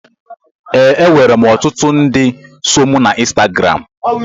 Ee, enwere m ọtụtụ ndị so mụ na Insitagaram